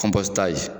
ta ye